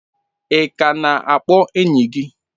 Ị ka na-akpọ enyi gị?